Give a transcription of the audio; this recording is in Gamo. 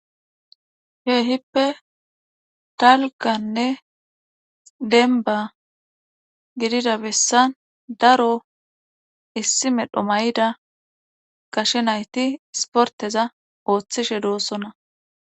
Kheehippe dalganne denba gidida bessan daro issi medho mayida gashe nayti sporteza ooththishe doossonna